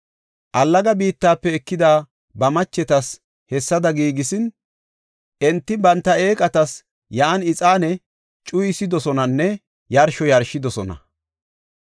Allaga biittafe ekida ba machetas hessada giigisin, enti banta eeqatas yan ixaane cuyidosonanne yarsho yarshidosona.